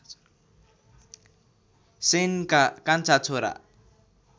सेनका कान्छा छोरा